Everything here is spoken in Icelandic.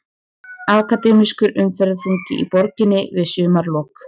Akademískur umferðarþungi í borginni við sumarlok